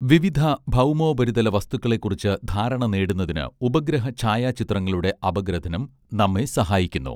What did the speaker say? വിവിധ ഭൗമോപരിതല വസ്തുക്കളെക്കുറിച്ച് ധാരണ നേടുന്നതിന് ഉപഗ്രഹ ഛായാചിത്രങ്ങളുടെ അപഗ്രഥനം നമ്മെ സഹായിക്കുന്നു